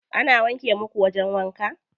Ana wanke muku wajen wanka?